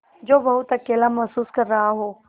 जो बहुत अकेला महसूस कर रहा हो